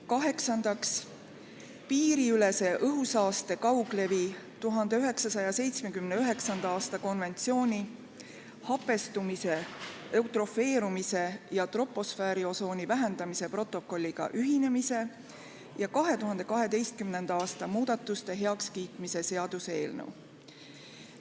Kaheksandaks, piiriülese õhusaaste kauglevi 1979. aasta konventsiooni hapestumise, eutrofeerumise ja troposfääriosooni vähendamise protokolliga ühinemise ja protokolli 2012. aasta muudatuste heakskiitmise seaduse eelnõu.